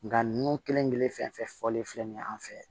Nga ninnu kelen kelen fɛn fɛn fɔlen filɛ nin ye an fɛ